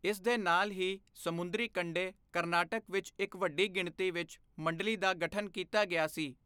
ਇਸ ਦੇ ਨਾਲ ਹੀ, ਸਮੁੰਦਰੀ ਕੰਢੇ, ਕਰਨਾਟਕ ਵਿੱਚ ਇੱਕ ਵੱਡੀ ਗਿਣਤੀ ਵਿੱਚ ਮੰਡਲੀ ਦਾ ਗਠਨ ਕੀਤਾ ਗਿਆ ਸੀ।